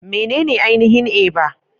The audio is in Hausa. Menene ainihin Eba?